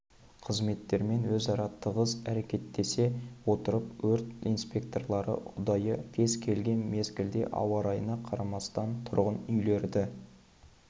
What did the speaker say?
қызметтермен өзара тығыз әрекеттесе отырып өрт инспекторлары ұдайы кез келген мезгілде ауа-райына қарамастан тұрғын үйлерді